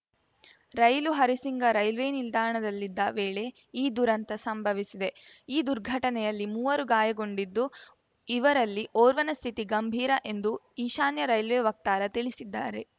ರೈಲು Harisinga railway ನಿಲ್ದಾಣದಲ್ಲಿದ್ದ ವೇಳೆ ಈ ದುರಂತ ಸಂಭವಿಸಿದೆ ಈ ದುರ್ಘಟನೆಯಲ್ಲಿ ಮೂವರು ಗಾಯಗೊಂಡಿದ್ದು ಇವರಲ್ಲಿ ಓರ್ವನ ಸ್ಥಿತಿ ಗಂಭೀರ ಎಂದು ಈಶಾನ್ಯ ರೈಲ್ವೆ ವಕ್ತಾರ ತಿಳಿಸಿದ್ದಾರೆ